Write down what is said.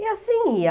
E assim ia.